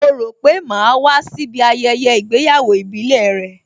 Ó rò pé màá wá síbí ayẹyẹ ìgbéyàwó ìbílẹ̀ rẹ?